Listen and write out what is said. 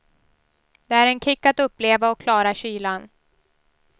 Det är en kick att uppleva och klara kylan.